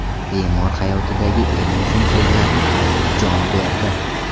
Bemor hayotidagi eng muhim so‘zlarni aytib, jon berdi.